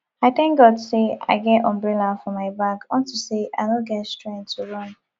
i thank god say i get umbrella for my bag unto say i no get strength to run